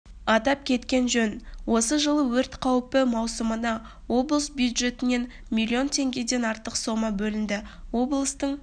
атап кеткен жөн осы жылы өрт қаупі маусымына облыс бюджетінен миллион теңгеден артық сомма бөлінді облыстың